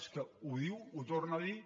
és que ho diu ho torna a dir